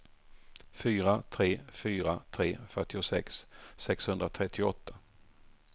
fyra tre fyra tre fyrtiosex sexhundratrettioåtta